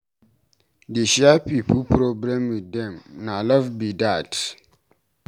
Dey share pipu problem wit dem, na love be dat.